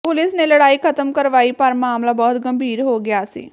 police ਨੇ ਲੜਾਈ ਖਤਮ ਕਰਵਾਈ ਪਰ ਮਾਮਲਾ ਬਹੁਤ ਗੰਭੀਰ ਹੋ ਗਿਆ ਸੀ